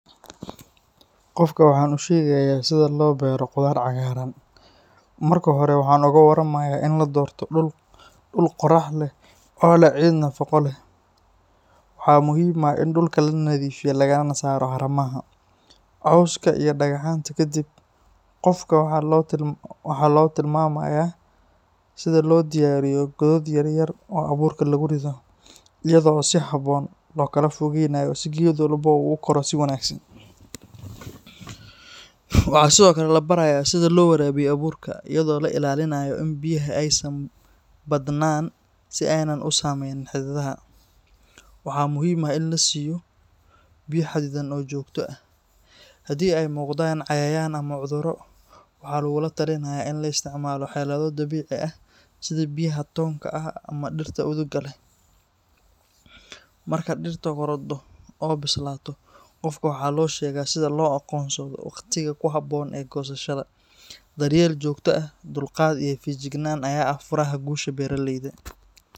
Qofka waxaan u sheegayaa sida loo beero khudaar cagaaran. Marka hore, waxaan uga warramayaa in la doorto dhul qorrax hela oo leh ciid nafaqo leh. Waxaa muhiim ah in dhulka la nadiifiyo lagana saaro haramaha, cawska iyo dhagaxaanta. Kadib, qofka waxaa loo tilmaamayaa sida loo diyaariyo godad yaryar oo abuurka lagu rido, iyadoo si habboon loo kala fogeynayo si geed walba uu u koro si wanaagsan. Waxaa sidoo kale la barayaa sida loo waraabiyo abuurka iyadoo la ilaalinayo in biyaha aysan badnaan si aanay u saameynin xididdada. Waxaa muhiim ah in la siiyo biyo xaddidan oo joogto ah. Haddii ay muuqdaan cayayaan ama cudurro, waxaa lagula talinayaa in la isticmaalo xeelado dabiici ah sida biyaha toonka ah ama dhirta udugga leh. Marka dhirtu korodho oo bislaato, qofka waxaa loo sheegaa sida loo aqoonsado waqtiga ku habboon ee goosashada. Daryeel joogto ah, dulqaad iyo feejignaan ayaa ah furaha guusha beeraleyda.